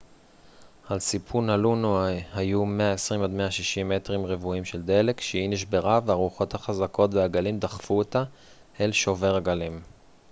על סיפון הלונו היו 120-160 מטרים רבועים של דלק כשהיא נשברה והרוחות החזקות והגלים דחפו אותה אל שובר הגלים